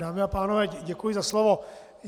Dámy a pánové, děkuji za slovo.